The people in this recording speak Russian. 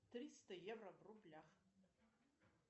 триста евро в рублях